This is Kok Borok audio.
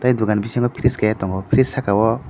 dogan bisingo freeze kaha tongo freez saka o.